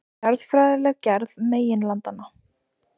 Jarðfræðileg gerð meginlandanna.